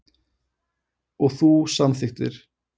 Og þú samþykktir.